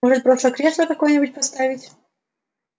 может просто кресло какое-нибудь поставить